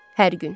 Hər gün.